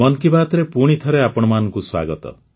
ମନ୍ କି ବାତ୍ ରେ ପୁଣି ଥରେ ଆପଣମାନଙ୍କୁ ସ୍ୱାଗତ